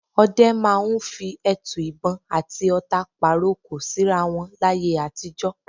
Ọdẹ máa ń fi ẹtu ìbọn àti ọ̀ta pàrokò síra wọn láyé àtijọ́.